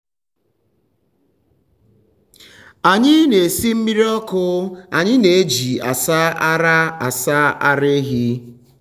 anyị na-esi mmiri ọkụ anyị na-eji asa ara asa ara ehi.